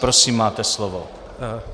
Prosím, máte slovo.